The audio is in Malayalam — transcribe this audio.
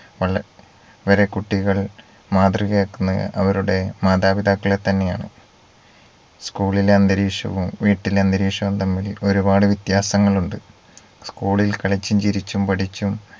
വള വരെ കുട്ടികൾ മാതൃകയാക്കുന്നത്‌ അവരുടെ മാതാപിതാക്കളെ തന്നെയാണ് school ഇലെ അന്തരീക്ഷവും വീട്ടിലെ അന്തരീക്ഷവും തമ്മിൽ ഒരുപാട് വ്യത്യാസങ്ങൾ ഉണ്ട് school ഇൽ കളിച്ചും ചിരിച്ചും പഠിച്ചും